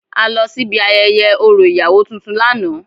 A lọ síbi ayẹyẹ orȯ ìyàwó tuntun lánàá.